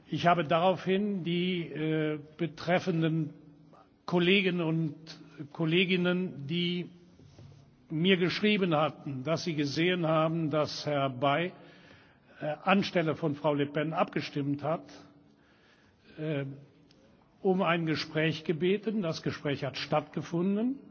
Ich habe daraufhin die betreffenden Kollegen und Kolleginnen, die mir geschrieben hatten, dass sie gesehen haben, dass Herr Bay anstelle von Frau Le Pen abgestimmt hat, um ein Gespräch gebeten. Das Gespräch hat stattgefunden